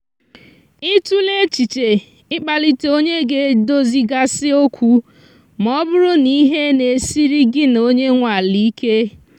ị tụla echiche i kpalite onye ga edozi ga si okwu ma ọ bụrụ na ihe na-esiri gị na onye nwe ala ike?